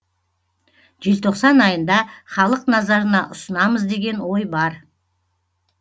желтоқсан айында халық назарына ұсынамыз деген ой бар